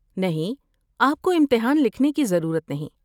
نہیں، آپ کو امتحان لکھنے کی ضرورت نہیں۔